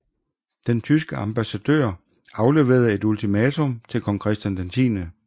Den tyske ambassadør afleverede et ultimatum til kong Christian X